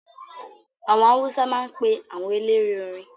Àwọn Awúsá máa ń pe àwọn eléré orin